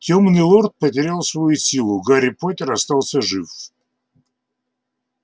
тёмный лорд потерял свою силу гарри поттер остался жив